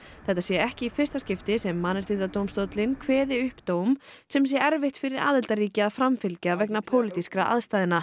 þetta sé ekki í fyrsta skipti sem Mannréttindadómstóllinn kveði upp dóm sem sé erfitt fyrir aðildarríki að framfylgja vegna pólitískra aðstæðna